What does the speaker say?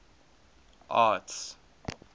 arts